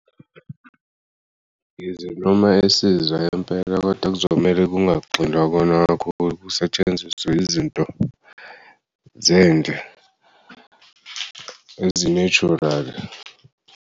Yize noma esizwa impela kodwa kuzomele kungagxilwa kukona kusetshenziswe izinto zendle, ezi-natural.